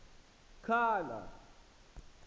khala